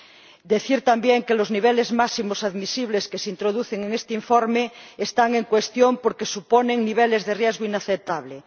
Me gustaría decir, también, que los niveles máximos admisibles que se introducen en este informe están en cuestión porque suponen niveles de riesgo inaceptables.